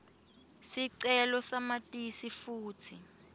sicelo samatisi futsi